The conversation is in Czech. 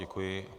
Děkuji.